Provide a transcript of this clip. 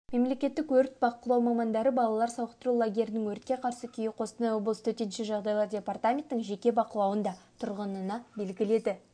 мемлекеттік өрт бақылау мамандары балалар сауықтыру лагерлерінің өртке қарсы күйі қостанай облысы төтенше жағдайлар департаментінің жеке бақылауында тұрғаныны белгіледі